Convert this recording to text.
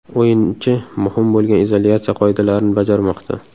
O‘yinchi muhim bo‘lgan izolyatsiya qoidalarini bajarmoqda.